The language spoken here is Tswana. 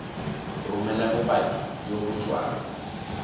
romela bopaki jo bo tswang